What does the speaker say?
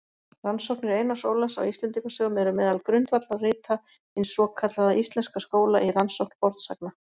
Rannsóknir Einars Ólafs á Íslendingasögum eru meðal grundvallarrita hins svokallaða íslenska skóla í rannsókn fornsagna.